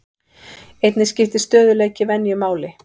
Einnig skiptir stöðugleiki venju máli.